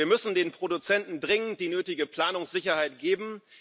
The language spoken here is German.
Wir müssen den Produzenten dringend die nötige Planungssicherheit geben.